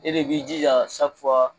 E de b'i jija saki fuwa